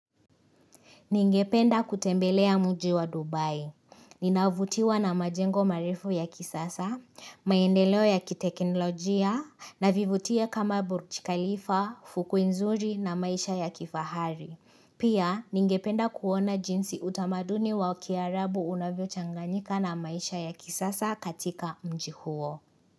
Ningependa kutembelea mji wa Dubai. Ninavutiwa na majengo marefu ya kisasa, maendeleo ya kitekinolojia, na vivutio kama Burj Khalifa, fukwe nzuri na maisha ya kifahari. Pia, ningependa kuona jinsi utamaduni wa wakiarabu unavyo changanyika na maisha ya kisasa katika mji huo.